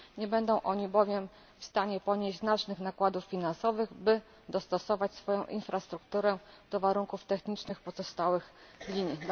Nie będą oni bowiem w stanie ponieść znacznych nakładów finansowych, by dostosować swoją infrastrukturę do warunków technicznych pozostałych linii.